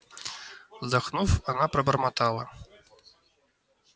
вздохнув она пробормотала